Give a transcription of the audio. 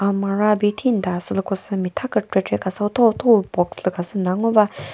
amurah bi thinta sülükosü mitha kükrekre khasü utho utho box lü khasü müta ngo ba--